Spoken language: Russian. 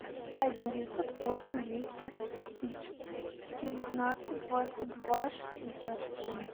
один девятьсот восемь двести девятнадцать двадцать два шестьдесят семь